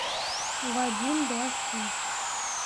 вадим блохин